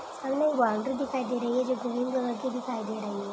सामने एक बाउंड्री दिखाई दे रही है जो ग्रीन कलर की दिखाई दे रही है।